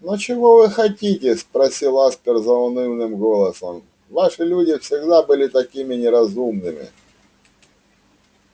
но чего вы хотите спросил аспер заунывным голосом ваши люди всегда были такими неразумными